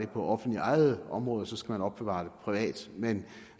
på offentligt ejede områder skal opbevare det privat men